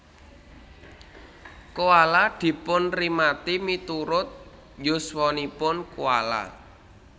Koala dipunrimati miturut yuswanipun koala